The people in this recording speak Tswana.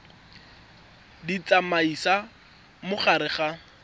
di tsamaisa mo gare ga